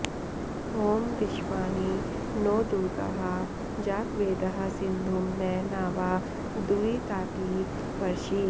ॐ विश्वा॑नि नो दु॒र्गहा॑ जातवेदः॒ सिन्धुं॒ न ना॒वा दु॑रि॒ताति॑ पर्षि